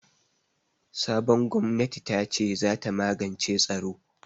Sabon gwamnati tace zata magance tsaro.